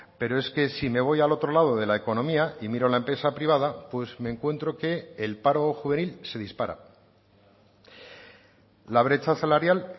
pero es que si me voy al otro lado de la economía y miro la empresa privada pues me encuentro que el paro juvenil se dispara la brecha salarial